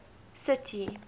city